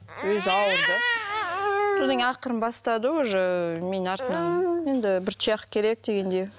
өзі ауырды содан кейін ақырын бастады уже менің артымнан енді бір тұяқ керек дегендей